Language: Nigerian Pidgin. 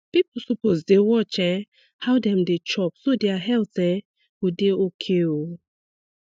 people suppose dey watch um how dem dey chop so their health um go dey okay um